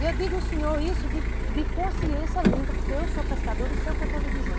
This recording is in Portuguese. E eu digo, senhor, isso de de consciência limpa, porque eu sou pescadora e sei o que eu estou lhe dizendo.